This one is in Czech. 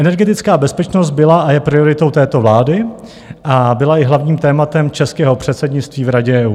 Energetická bezpečnost byla a je prioritou této vlády a byla i hlavním tématem českého předsednictví v Radě EU.